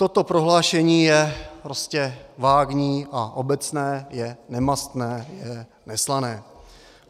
Toto prohlášení je prostě vágní a obecné, je nemastné, je neslané.